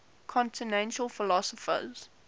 continental philosophers